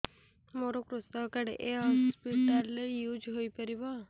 ମୋର କୃଷକ କାର୍ଡ ଏ ହସପିଟାଲ ରେ ୟୁଜ଼ ହୋଇପାରିବ